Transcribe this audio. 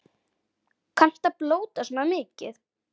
Kanntu að blóta svona mikið?